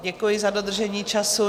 Děkuji za dodržení času.